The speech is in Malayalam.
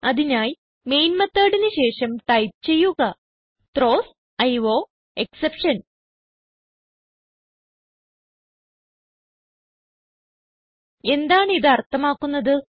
അതിനായി മെയിൻ methodന് ശേഷം ടൈപ്പ് ചെയ്യുക ത്രോവ്സ് അയോഎക്സെപ്ഷൻ എന്താണ് ഇത് അർത്ഥമാക്കുന്നത്